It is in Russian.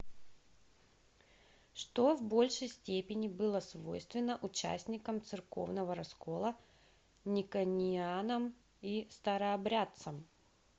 что в большей степени было свойственно участникам церковного раскола никонианам и старообрядцам